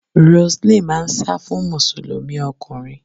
Roseline máa ń sá fún Mùsùlùmí ọkùnrin.